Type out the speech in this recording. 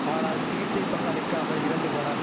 ஆனால் சிகிச்சை பலன் அளிக்காமல் இறந்து போனான்